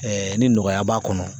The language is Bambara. ni nɔgɔya b'a kɔnɔ